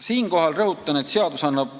Siinkohal rõhutan, et seadus annab